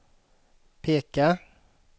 peka